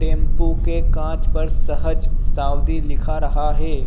Tempo के कांच पर सहज साउदी लिखा रहा हैं।